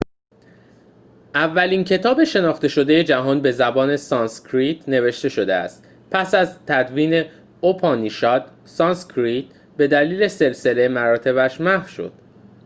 اولین کتاب شناخته شده جهان به زبان سانسکریت نوشته شده است پس از تدوین اوپانیشاد سانسکریت به‌دلیل سلسله مراتبش محو شد